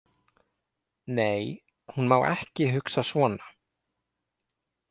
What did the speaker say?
Nei, hún má ekki hugsa svona.